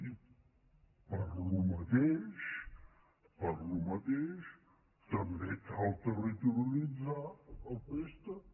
i per al mateix per al mateix també cal territorialit·zar el préstec